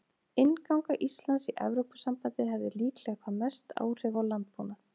Innganga Íslands í Evrópusambandið hefði líklega hvað mest áhrif á landbúnað.